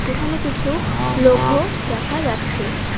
এখানে কিছু লোঘো দেখা যাচ্ছে।